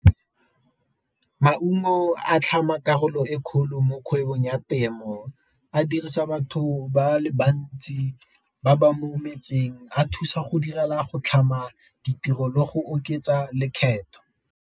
Maungo a tlhama karolo e kgolo mo kgwebong ya temo, a dirisa batho ba le bantsi ba ba mo metseng, a thusa go direla go tlhama ditiro le go oketsa lekgetho.